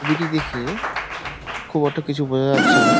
OBT দেখে খুব একটা কিছু বোঝা যাচ্ছে না।